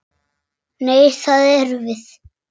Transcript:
Nei, það erum við.